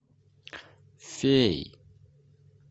феи